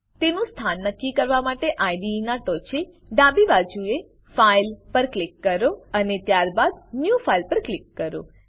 તેનું સ્થાન નક્કી કરવા માટે આઇડીઇ નાં ટોંચે ડાબી બાજુએ ફાઇલ ફાઈલ પર ક્લિક કરો અને ત્યારબાદ ન્યૂ ફાઇલ ન્યુ ફાઈલ પર ક્લિક કરો